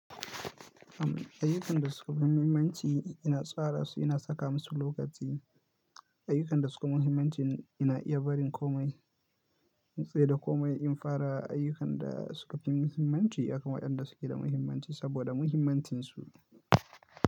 Ayyukan da suke da muhimmanci ina tsarasu, ina saka musu lokaci. Ayyukan da suke da muhimmanci ina iya barin komai in tsai da komai in fara ayyukan da suke da muhimmanci. Akan waɗan da suke da mahimmanci saboda muhimmancinsu.